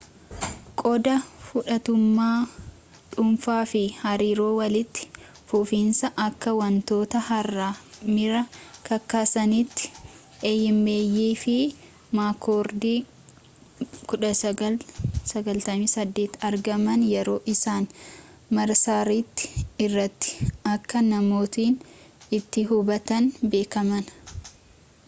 qooda fudhattummaa dhuunfaa” fi hariiroo walitti fufiinsaa” akka wantoota haaraa miira kakaasanitti eeyimeeyi fi maakkoordi 1998 argaman yeroo isaan marsaaritti irratti akka namootni itti hubatan beekameen